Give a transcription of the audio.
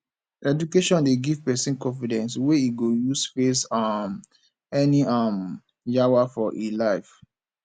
education dey give pesin confidence wey e go use face um any um yawa for e life